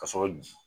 Ka sɔrɔ